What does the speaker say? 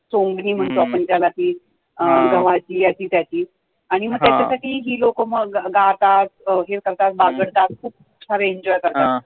चोंगणी म्हणतो आपण त्याला ती गव्हाची, याची त्याची आणि मग त्याच्या साठी ही लोकं मग गातात, हे करतात, बागडतात, खूप सारं enjoy करतात